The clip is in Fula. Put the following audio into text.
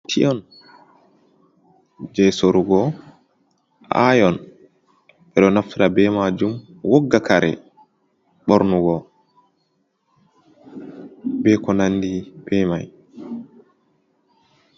Piyon je sorugo, ayon eɗo naftira ɓe majum wogga karéh bornugo ɓe ko nanɗi ɓe mai.